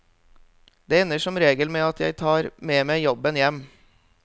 Det ender som regel med at jeg tar med meg jobben hjem.